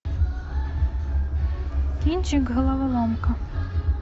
кинчик головоломка